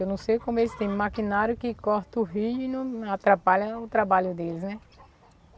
Eu não sei como eles têm maquinário que corta o rio e não atrapalha o trabalho deles, né?